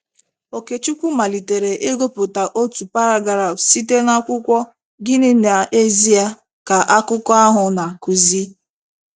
Okechukwu malitere ịgụpụta otu paragraf site n’akwụkwọ Gịnị n’Ezie Ka Akụkọ ahụ Na - akụzi?